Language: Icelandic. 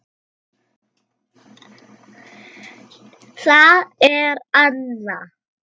Síldin er komin!